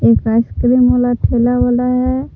Ice cream वाला ठेला वाला है।